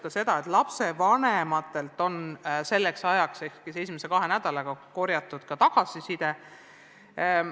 Ka lapsevanematelt oli selleks ajaks, st esimese kahe nädalaga tagasisidet korjatud.